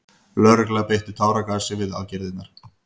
Lögregla beitti táragasi við aðgerðirnar